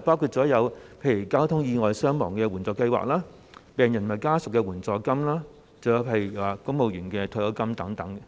包括例如交通意外傷亡援助計劃、病人及家屬援助金，以及公務員退休金等。